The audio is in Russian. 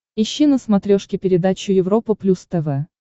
ищи на смотрешке передачу европа плюс тв